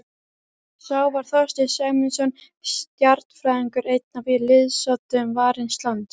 Sá var Þorsteinn Sæmundsson stjarnfræðingur, einn af liðsoddum Varins lands.